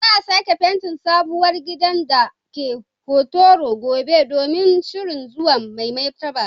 Za a sake fentin sabuwar gidan da ke Hotoro gobe domin shirin zuwan Mai Martaba.